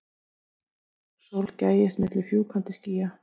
Sól gægist milli fjúkandi skýja.